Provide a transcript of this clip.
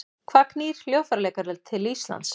Hvað knýr hljóðfæraleikara til Íslands?